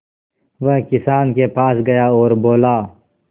वह किसान के पास गया और बोला